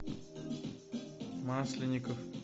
масленников